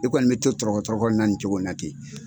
I kɔni bɛ to tiɔrɔkɔ tiɔrɔkɔ la ni cogo na ten.